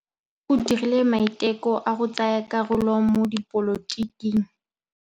O dirile maitekô a go tsaya karolo mo dipolotiking.